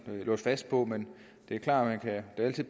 låst fast på men det er klart at man da altid